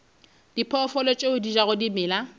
diphoofolo tše di jago dimela